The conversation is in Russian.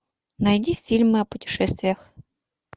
найди фильмы о путешествиях